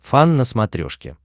фан на смотрешке